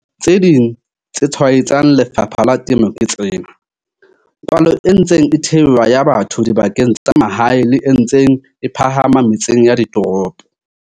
Ditaba tse ding tse tshwaetsang lefapha la temo ke tsena- Palo e ntseng e theoha ya batho dibakeng tsa mahae le e ntseng e phahama metseng ya ditoropo.